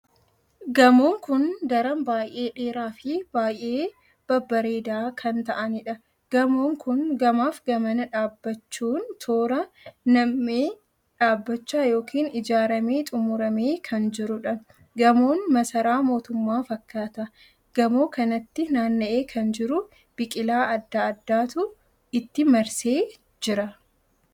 Gamoon kun daran baay'ee dheeraa Fi baay'ee babbareedaa kan ta'aaniidha. gamoon kun gamaaf gamana dhaabbachuun toora nammee dhaabbachaa ykn ijaaramee xumuramee kan jirudha. Gamoon masaraa mootummaa fakkaata .gamoo kanatti naanna'ee kan jiru biqilaa addaa addaatu itti marsee jira.